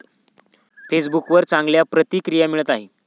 फेसबुकवर चांगल्या प्रतिक्रिया मिळत आहेत.